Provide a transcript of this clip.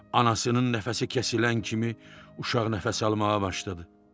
Anasının nəfəsi kəsilən kimi uşaq nəfəs almağa başladı.